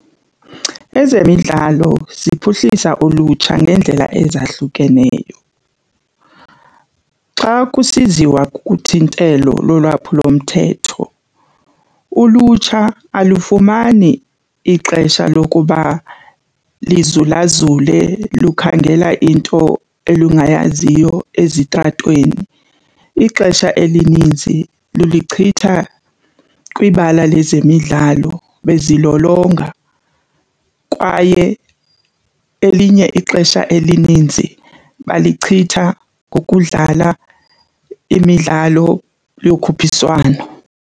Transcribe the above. Ezemidlalo ziphuhlisa ulutsha ngeendlela ezahlukeneyo. Xa kusiziwa kuthintelo lolwaphulomthetho ulutsha alufumani ixesha lokuba lizulazule lukhangela into elungayaziyo ezitratweni, ixesha elininzi liluchitha kwibala lezemidlalo bezilolonga kwaye elinye ixesha elininzi balichitha ngokudlala imidlalo yokhuphiswano.